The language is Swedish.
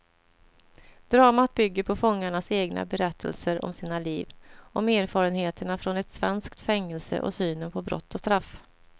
Dramat bygger på fångarnas egna berättelser om sina liv, om erfarenheterna från ett svenskt fängelse och synen på brott och straff.